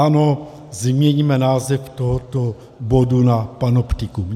Ano, změňme název tohoto bodu na panoptikum!